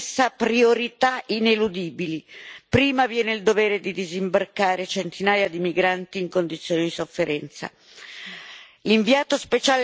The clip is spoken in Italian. ma la legge internazionale fissa priorità ineludibili prima viene il dovere di disimbarcare centinaia di migranti in condizioni di sofferenza.